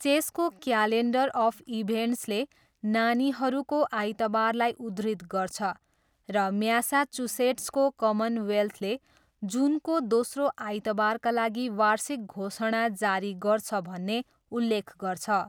चेसको calendar of इभेन्ट्सले नानीहरूको आइतबारलाई उद्धृत गर्छ र म्यासाचुसेट्सको कमनवेल्थले जुनको दोस्रो आइतबारका लागि वार्षिक घोषणा जारी गर्छ भन्ने उल्लेख गर्छ।